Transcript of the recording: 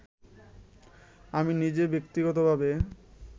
আমি নিজে ব্যক্তিগতভাবে